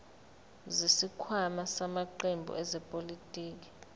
zesikhwama samaqembu ezepolitiki